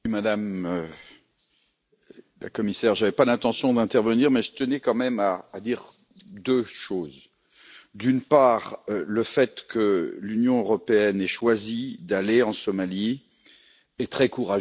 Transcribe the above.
Monsieur le Président, Madame la Commissaire, je n'avais pas l'intention d'intervenir, mais je tenais quand même à dire deux choses. D'une part, le fait que l'Union européenne ait choisi d'aller en Somalie est très courageux.